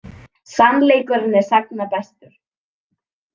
Sannleikurinn er sagna bestur.